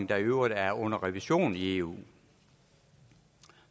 der i øvrigt er under revision i eu